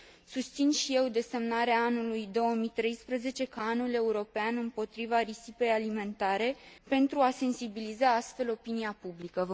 Susțin și eu desemnarea anului 2013 ca Anul european împotriva risipei alimentare, pentru a sensibiliza astfel opinia publică.